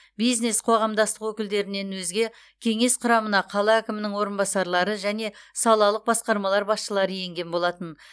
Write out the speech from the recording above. бизнес қоғамдастық өкілдерінен өзге кеңес құрамына қала әкімінің орынбасарлары және салалық басқармалар басшылары енген болатын